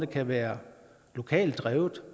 kan være lokalt drevne